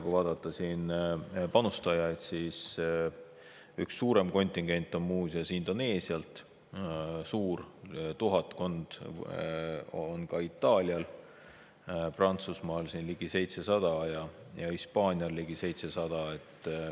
Kui vaadata panustajaid, siis üks suurem kontingent on muuseas Indoneesiast, suur, tuhatkond isikut on väljas Itaalial, Prantsusmaal ligi 700 ja Hispaanial samuti ligi 700.